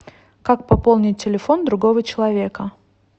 как пополнить телефон другого человека